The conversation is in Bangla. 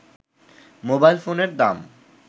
মোবাইল ফোনের দাম